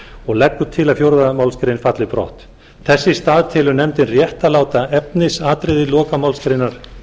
og leggur til að fjórðu málsgrein falli brott þess í stað telur nefndin rétt að láta efnisatriði lokamálsgreinar